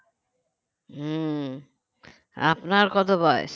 হুঁ আপনার কত বয়স